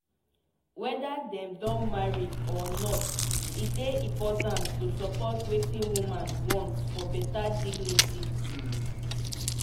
weda dem don marry or not e dey important to support wetin women want for beta dignity